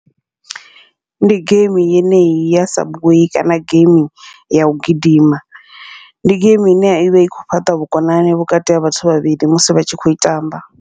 Ndi geimi yeneyi ya subway kana game yau gidima, ndi geimi ine ya ivha i kho fhaṱa vhukonani vhukati ha vhathu vhavhili musi vha tshi kho i tamba.